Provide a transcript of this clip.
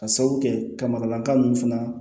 Ka sabu kɛ ka makalanka ninnu fana